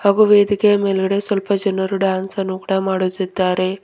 ಹಾಗು ವೇದಿಕೆಯ ಮೇಲ್ಗಡೆ ಸ್ವಲ್ಪ ಜನರು ಡ್ಯಾನ್ಸ್ ಅನ್ನು ಕೂಡ ಮಾಡುತ್ತಿದ್ದಾರೆ.